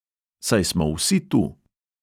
Saj smo vsi tu!